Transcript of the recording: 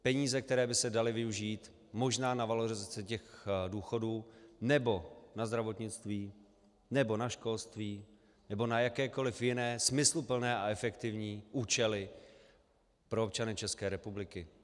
Peníze, které by se daly využít možná na valorizaci těch důchodů nebo na zdravotnictví nebo na školství nebo na jakékoli jiné smysluplné a efektivní účely pro občany České republiky.